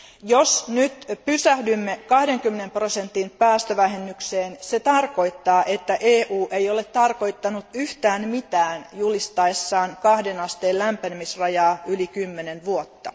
Jos nyt pysähdymme 20 prosentin päästövähennykseen se tarkoittaa, että EU ei ole tarkoittanut yhtään mitään julistaessaan kahden asteen lämpenemisrajaa yli kymmenen vuotta.